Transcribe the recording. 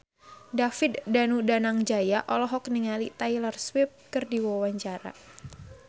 David Danu Danangjaya olohok ningali Taylor Swift keur diwawancara